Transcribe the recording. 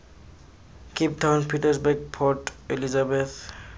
cape town pietersburg port elizabeth